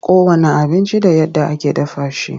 Kowanne abinci da yadda ake dafa shi.